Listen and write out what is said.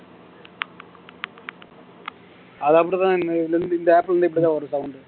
அது அப்படிதான் இ இந்த app லே இருந்து இப்படிதான் வரும் sound